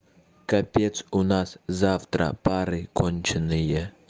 капец у нас завтра пары конченые